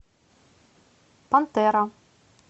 пантера